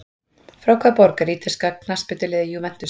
Frá hvaða borg er ítalska knattspyrnuliðið Juventus?